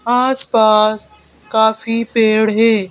आस-पास काफी पेड़ है।